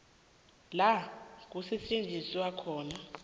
la kusetjenzelwa khona